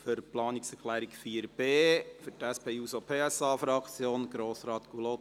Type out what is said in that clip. Für die Planungserklärung 4.b hat für die SP-JUSO-PSA-Fraktion Grossrat Gullotti das Wort.